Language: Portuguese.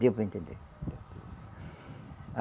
Deu para entender. A